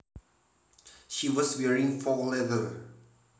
She was wearing faux leather